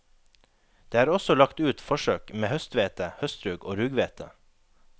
Det er også lagt ut forsøk med høsthvete, høstrug og rughvete.